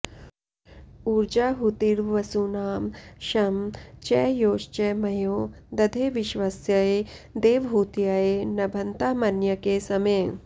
ऊर्जाहुतिर्वसूनां शं च योश्च मयो दधे विश्वस्यै देवहूत्यै नभन्तामन्यके समे